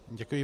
Děkuji.